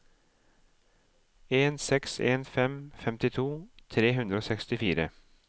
en seks en fem femtito tre hundre og sekstifire